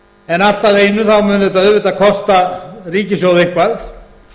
en allt að einu þá mun þetta auðvitað kosta ríkissjóð eitthvað